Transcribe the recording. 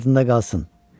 Yadında qalsın.